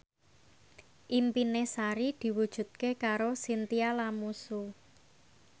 impine Sari diwujudke karo Chintya Lamusu